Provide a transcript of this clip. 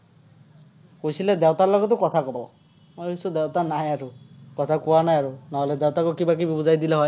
কৈছিলে, দেউতাৰ লগতো কথা ক'ব। মই ভাৱিছো, দেউতা নাহে আৰু। কথা কোৱা নাই আৰু, নহ'লে দেউতাকো কিবা-কিবি বুজাই দিলে হয়।